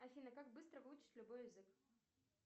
афина как быстро выучить любой язык